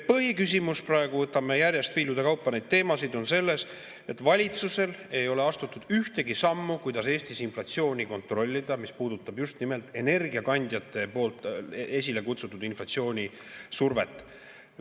Põhiküsimus praegu – võtame järjest viilude kaupa neid teemasid – on selles, et valitsus ei ole astunud ühtegi sammu, kuidas Eestis inflatsiooni kontrollida, mis puudutab just nimelt energiakandjate poolt esile kutsutud inflatsioonisurvet.